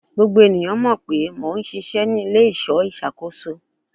Gbogbo eniyan mọ pe Mo n ṣiṣẹ ni ile-iṣọ iṣakoso